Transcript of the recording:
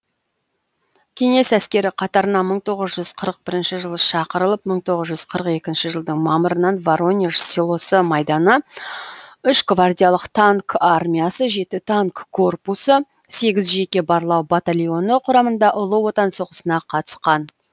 кеңес әскері қатарына мың тоғыз жүз қырық бірінші жылы шақырылып мың тоғыз жүз қырық екінші жылдың мамырынан воронеж селосы майданы үш гвардиялык танк армиясы жеті танк корпусы сегіз жеке барлау батальоны құрамында ұлы отан соғысына қатысқан